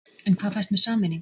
En hvað fæst með sameiningu?